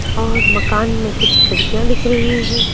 और मकान में कुछ खिड़कियां दिख रही हैं।